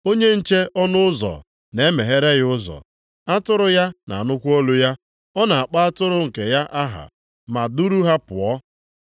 Onye nche ọnụ ụzọ na-emeghere ya ụzọ, atụrụ ya na-anụkwa olu ya. Ọ na-akpọ atụrụ nke ya aha, ma duru ha pụọ.